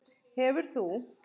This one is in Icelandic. Hefur þú?